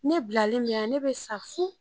Ne bilali min na ne bɛ sa fu